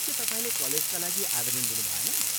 के तपाईँले कलेजका लागि आवेदन दिनुभएन?